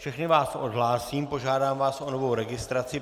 Všechny vás odhlásím, požádám vás o novou registraci.